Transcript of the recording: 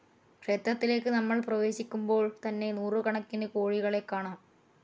ക്ഷേത്രത്തിലേക്ക് നമ്മൾ പ്രവേശിക്കുമ്പോൾ തന്നെ നൂറു കണക്കിന് കോഴികളെ കാണാം.